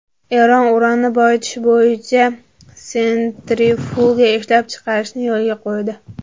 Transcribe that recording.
Eron uranni boyitish bo‘yicha sentrifuga ishlab chiqarishni yo‘lga qo‘ydi.